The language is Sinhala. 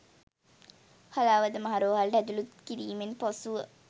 හලාවත මහ රෝහලට ඇතුළත් කිරීමෙන් පසුව